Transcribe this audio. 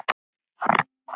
Ég þekki allt þetta lið.